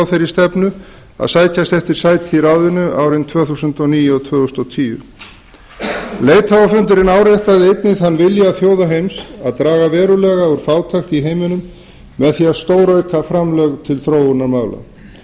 þeirri stefnu að sækjast eftir sæti í ráðinu árin tvö þúsund og níu og tvö þúsund og tíu leiðtogafundurinn áréttaði einnig þann vilja þjóða heims að draga verulega úr fátækt í heiminum með því að stórauka framlög til þróunarmála